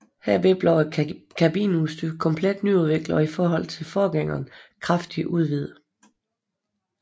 Herved blev kabineudstyret komplet nyudviklet og i forhold til forgængeren kraftigt udvidet